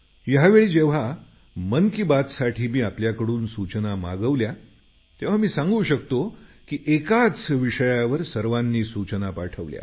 यावेळी जेव्हा मन की बात साठी मी आपल्याकडून सूचना मागवल्या तेव्हा मी सांगू शकतो की एकाच विषयावर सर्वांनी सूचना पाठवल्या